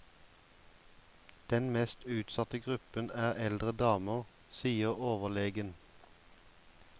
Den mest utsatte gruppen er eldre damer, sier overlegen.